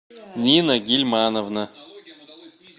нина гильмановна